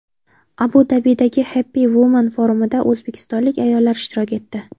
Abu-Dabidagi Happy Woman forumida o‘zbekistonlik ayollar ishtirok etdi.